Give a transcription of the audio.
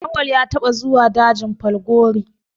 Auwalu ya taɓa zuwa dajin Falgore